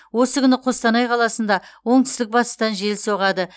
осы күні қостанай қаласында оңтүстік батыстан жел соғады